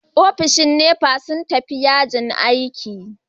Ofishin NEPA sun tafi yajin aiki.